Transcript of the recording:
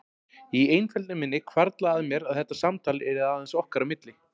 Í einfeldni minni hvarflaði að mér að þetta samtal yrði aðeins okkar á milli.